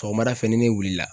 Sɔgɔmada fɛ ni ne wulila.